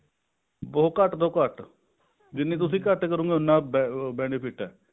ਬਹੁਤ ਘੱਟ ਤੋਂ ਘੱਟ ਜਿੰਨੀ ਤੁਸੀਂ ਘੱਟ ਕਰੋਂਗੇ ਉਨਾ benefit ਹੈ